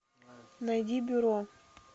найди бюро